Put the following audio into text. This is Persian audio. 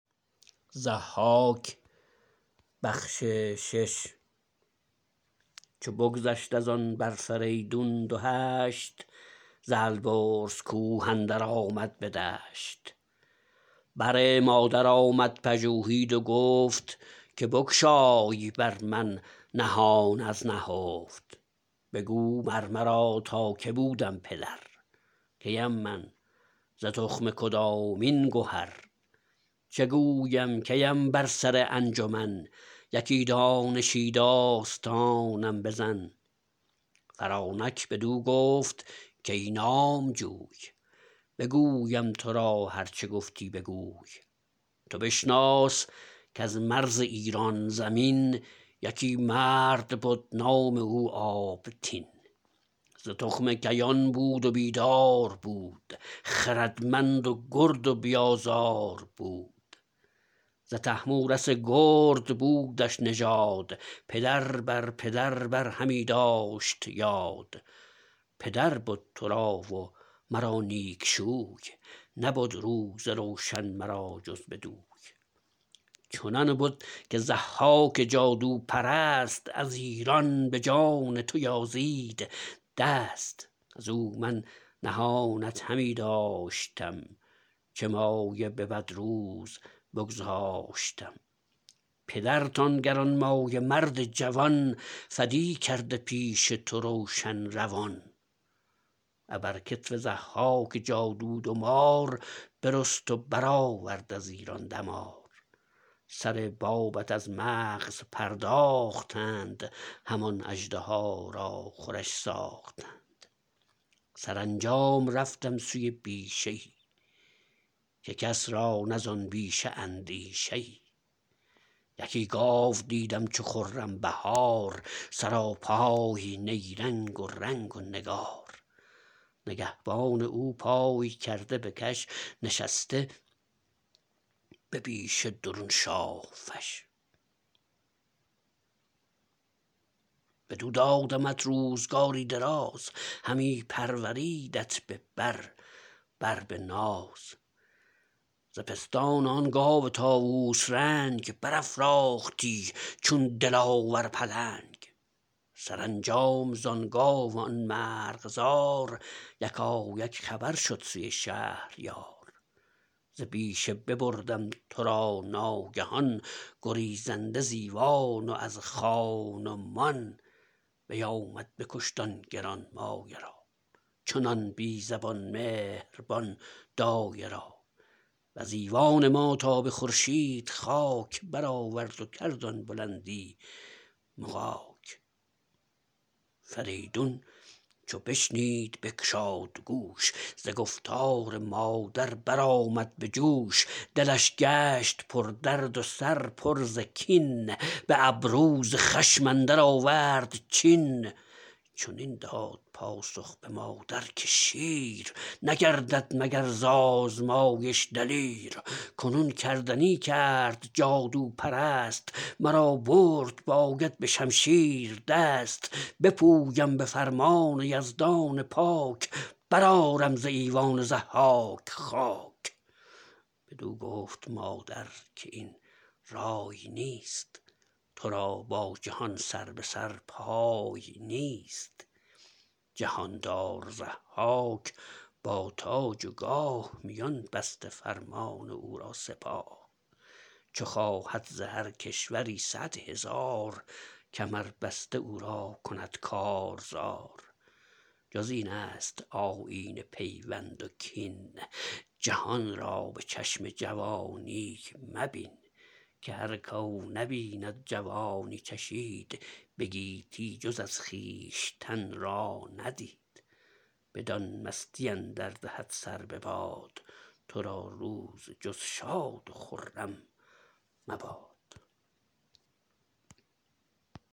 چو بگذشت از آن بر فریدون دو هشت ز البرز کوه اندر آمد به دشت بر مادر آمد پژوهید و گفت که بگشای بر من نهان از نهفت بگو مر مرا تا که بودم پدر کیم من ز تخم کدامین گهر چه گویم کیم بر سر انجمن یکی دانشی داستانم بزن فرانک بدو گفت کای نامجوی بگویم تو را هر چه گفتی بگوی تو بشناس کز مرز ایران زمین یکی مرد بد نام او آبتین ز تخم کیان بود و بیدار بود خردمند و گرد و بی آزار بود ز طهمورث گرد بودش نژاد پدر بر پدر بر همی داشت یاد پدر بد تو را و مرا نیک شوی نبد روز روشن مرا جز بدوی چنان بد که ضحاک جادوپرست از ایران به جان تو یازید دست از او من نهانت همی داشتم چه مایه به بد روز بگذاشتم پدرت آن گرانمایه مرد جوان فدی کرده پیش تو روشن روان ابر کتف ضحاک جادو دو مار برست و برآورد از ایران دمار سر بابت از مغز پرداختند همان اژدها را خورش ساختند سرانجام رفتم سوی بیشه ای که کس را نه زآن بیشه اندیشه ای یکی گاو دیدم چو خرم بهار سراپای نیرنگ و رنگ و نگار نگهبان او پای کرده به کش نشسته به بیشه درون شاه فش بدو دادمت روزگاری دراز همی پروردیدت به بر بر به ناز ز پستان آن گاو طاووس رنگ برافراختی چون دلاور پلنگ سرانجام زآن گاو و آن مرغزار یکایک خبر شد سوی شهریار ز بیشه ببردم تو را ناگهان گریزنده ز ایوان و از خان و مان بیامد بکشت آن گرانمایه را چنان بی زبان مهربان دایه را وز ایوان ما تا به خورشید خاک برآورد و کرد آن بلندی مغاک فریدون چو بشنید بگشاد گوش ز گفتار مادر برآمد به جوش دلش گشت پردرد و سر پر ز کین به ابرو ز خشم اندر آورد چین چنین داد پاسخ به مادر که شیر نگردد مگر ز آزمایش دلیر کنون کردنی کرد جادوپرست مرا برد باید به شمشیر دست بپویم به فرمان یزدان پاک برآرم ز ایوان ضحاک خاک بدو گفت مادر که این رای نیست تو را با جهان سر به سر پای نیست جهاندار ضحاک با تاج و گاه میان بسته فرمان او را سپاه چو خواهد ز هر کشوری صدهزار کمر بسته او را کند کارزار جز این است آیین پیوند و کین جهان را به چشم جوانی مبین که هر کاو نبید جوانی چشید به گیتی جز از خویشتن را ندید بدان مستی اندر دهد سر بباد تو را روز جز شاد و خرم مباد